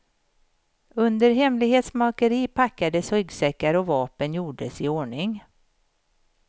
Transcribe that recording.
Under hemlighetsmakeri packades ryggsäckar och vapen gjordes i ordning.